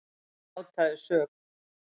Hann játaði sök.